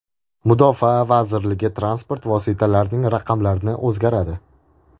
Mudofaa vazirligi transport vositalarining raqamlari o‘zgaradi.